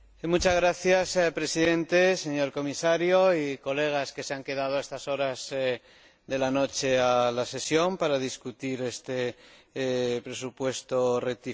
Señor Presidente, señor Comisario y colegas que se han quedado a estas horas de la noche en la sesión para discutir este presupuesto rectificativo.